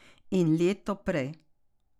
In leto prej.